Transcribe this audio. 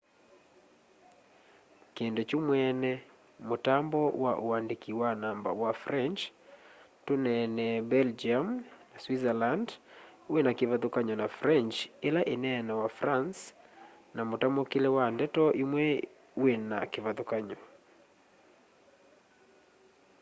kĩndũ kyũ mwene mũtambo wa ũandĩkĩ wa namba wa french-tũneenee belgĩũm na swĩtzerland wĩna kĩvathũkanyo na french ĩla ĩneenawa france na mũtamũkĩle wa ndeto ĩmwe wĩna kĩvathũkany'o